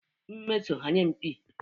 Mmesom hyiam pii